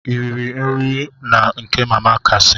Ị riri nri na nke mama kasi?